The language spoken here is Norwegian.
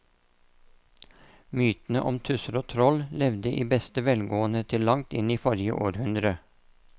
Mytene om tusser og troll levde i beste velgående til langt inn i forrige århundre.